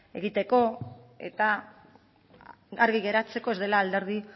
egiteko eta argi geratzeko ez dela alderdi